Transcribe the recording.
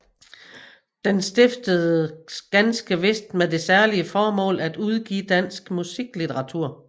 Den stiftedes ganske vist med det særlige formål at udgive dansk musiklitteratur